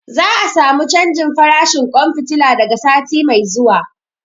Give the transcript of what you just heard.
Za a samu canjin farashin ƙwan fitila daga sati mai zuwa.